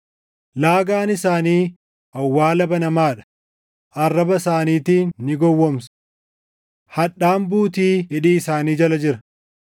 “Laagaan isaanii awwaala banamaa dha; arraba isaaniitiin ni gowwoomsu.” + 3:13 \+xt Far 5:9\+xt* “Hadhaan buutii hidhii isaanii jala jira.” + 3:13 \+xt Far 140:3\+xt*